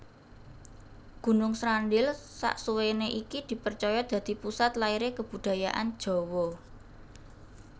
Gunung Srandil saksuwéné iki dipercaya dadi pusat lahiré kebudayaan Jawa